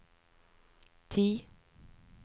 ti